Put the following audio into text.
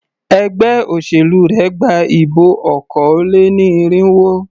Ẹgbé òṣèlú rẹ gba ìbọ̀ okòó-lé-ní-irínwó.